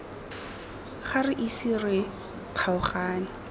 ga re ise re kgaogane